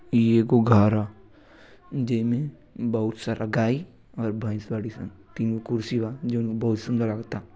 ई एगो घर ह। जेमें बहुत सारा गाय और भैंस बाड़ी स। तीन कुर्सी बा जोन बहुत सुंदर लगता।